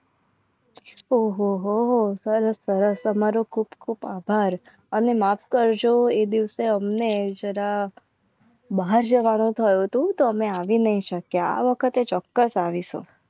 ઓ હો હો સરસ સરસ તમારો ખુબ ખુબ આભાર અને માફ કરજો એ દિવસે અમને જરા બહાર છે. વાળો થયો હતો અમે આવી નહીં શકે. આ વખતે ચોક્કસ આવીશું.